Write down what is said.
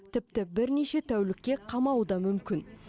тіпті бірнеше тәулікке қамауы да мүмкін